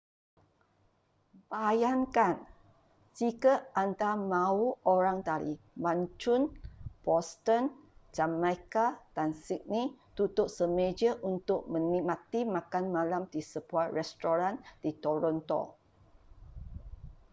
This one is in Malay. bayangkan jika anda mahu orang dari mancun boston jamaica dan sydney duduk semeja untuk menikmati makan malam di sebuah restoran di toronto